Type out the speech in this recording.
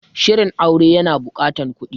Shirin aure ya na buƙatan kuɗi